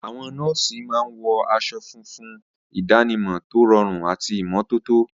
Àwọn nọ́ọ̀sì máa ń wọ aṣọ fún ìdánimọ̀ tó rọrùn àti ìmọ́tótó.